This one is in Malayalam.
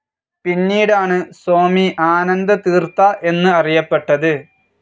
പിന്നീടാണ് സ്വാമി ആനന്ദതീർഥ എന്ന് അറിയപ്പെട്ടത്.